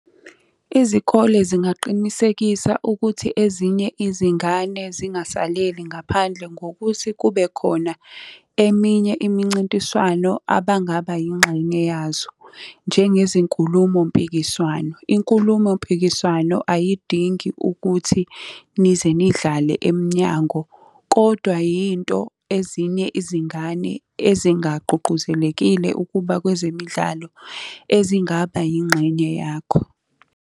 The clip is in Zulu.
Izikole zingaqinisekisa ukuthi ezinye izingane zingasaleli ngaphandle ngokuthi kube khona eminye imincintiswano abangaba yingxenye yazo. Njengezinkulumo-mpikiswano, inkulumo-mpikiswano ayidingi ukuthi nize nidlale emnyango, kodwa yinto ezinye izingane ezingagqugquzelekile ukuba kwezemidlalo, ezingaba yingxenye yakho.